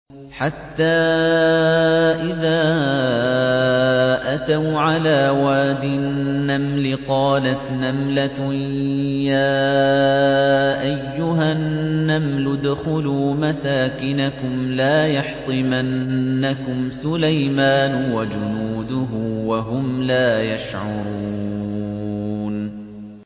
حَتَّىٰ إِذَا أَتَوْا عَلَىٰ وَادِ النَّمْلِ قَالَتْ نَمْلَةٌ يَا أَيُّهَا النَّمْلُ ادْخُلُوا مَسَاكِنَكُمْ لَا يَحْطِمَنَّكُمْ سُلَيْمَانُ وَجُنُودُهُ وَهُمْ لَا يَشْعُرُونَ